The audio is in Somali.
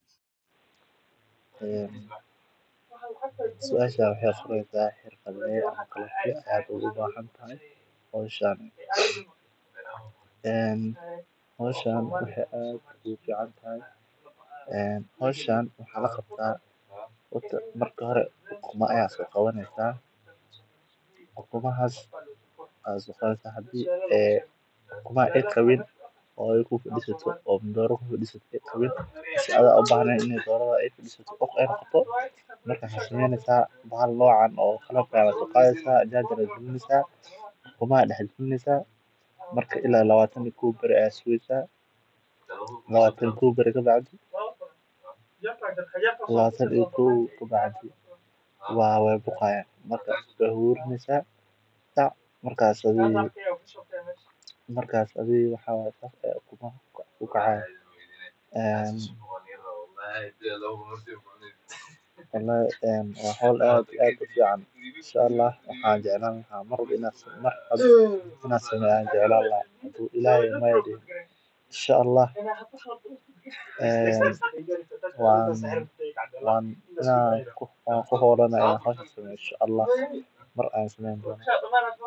waana dhaqan si weyn uga jira bulshooyin badan oo ku tiirsan wax-soo-saarka dhaqaalaha ee beeraha iyo xoolaha. Dhaqashada xoolaha iyo beeralayntu waa laba hawlood oo is-dhaafsi waxtar leh, waana sababta ay beeraley badan u doortaan inay isku daraan labadooda si ay u helaan nolol dhaqaale oo deggan. Xooluhu waxay bixiyaan digaag, lo’, ari, ama geel oo laga helo caano, hilib, dufan, iyo xataa lacag lagu helo marka